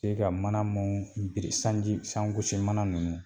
Se ka mana muun biri sanji sangosi mana nunnu